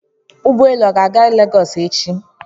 Ụgbọelu a ga-aga lagos echi?